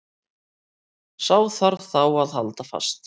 Sá þarf þá að halda fast.